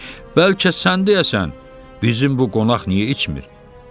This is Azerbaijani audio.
Bəlkə sən deyəsən bizim bu qonaq niyə içmir?